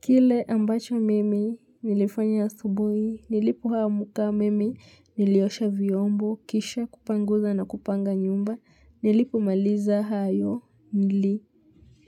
Kile ambacho mimi nilifanya asubuhi nilipo amuka mimi niliosha vyombo kisha kupanguza na kupanga nyumba nilipo maliza hayo nili